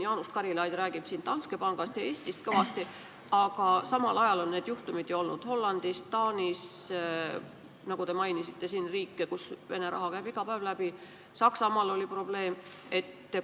Jaanus Karilaid räägib siin kõvasti Danske pangast ja Eestist, aga samal ajal on neid juhtumeid olnud ju Hollandis ja Taanis, te mainisite siin riike, kust Vene raha iga päev läbi käib, Saksamaal oli probleem.